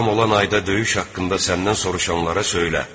Haram olan ayda döyüş haqqında səndən soruşanlara söylə.